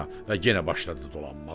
Və yenə başladı dolanmağa.